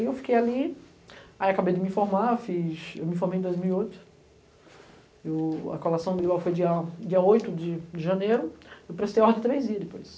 Aí eu fiquei ali, aí acabei de me formar, eu me formei em dois mil e oito, eu a colação foi dia dia oito de janeiro, eu prestei ordem três dias depois.